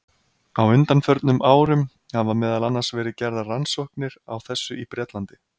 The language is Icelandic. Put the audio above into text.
Á undanförnum árum hafa meðal annars verið gerðar nokkrar rannsóknir á þessu í Bretlandi.